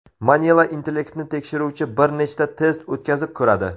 Manila intellektni tekshiruvchi bir nechta test o‘tkazib ko‘radi.